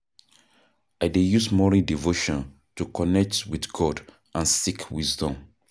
I dey use morning devotion to connect with God and seek wisdom.